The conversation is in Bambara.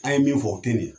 An ye min fɔ o te ɲɛ